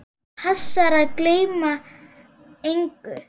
Passir að ég gleymi engu.